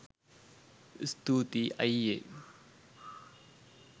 ඉස්‍තූ‍ති‍යි ‍අ‍යි‍යේ.